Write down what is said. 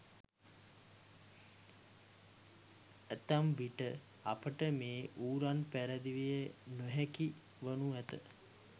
ඇතැම් විට අපට මේ ඌරන් පැරදවිය නොහැකි වනු ඇත.